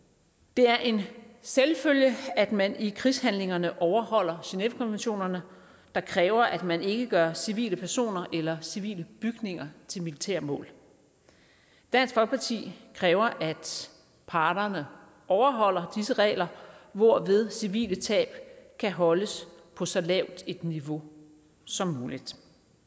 det er en selvfølge at man i krigshandlingerne overholder genèvekonventionerne der kræver at man ikke gør civile personer eller civile bygninger til militære mål dansk folkeparti kræver at parterne overholder disse regler hvorved civile tab kan holdes på så lavt et niveau som muligt